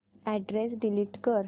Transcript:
address delete कर